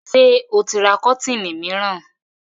Ṣé ó ti ra kọ́tíìnì mìíràn?